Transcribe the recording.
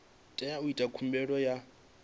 tea u ita khumbelo ya